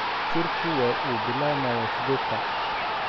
Shirku waxa uu bilaabmayaa sideed saac.